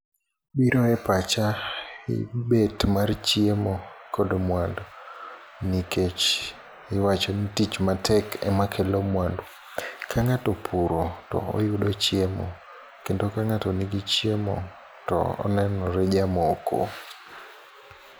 Biro e pacha en bet mar chiemo kod mwandu nikech iwacho ni tich matek ema kelo mwandu. Ka ng'ato opuro to oyudo chiemo. Kendo ka ng'ato nigi chiemo to onenore jamoko.